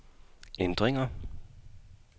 ændringer